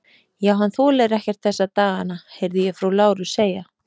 Já, hann þolir ekkert þessa dagana, heyrði ég frú Láru segja.